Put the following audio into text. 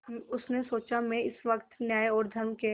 उसने सोचा मैं इस वक्त न्याय और धर्म के